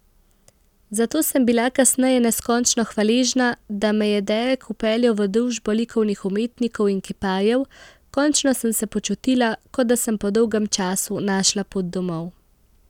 Zato sem bila kasneje neskončno hvaležna, da me je Derek vpeljal v družbo likovnih umetnikov in kiparjev, končno sem se počutila, kot da sem po dolgem času našla pot domov.